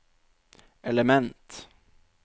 element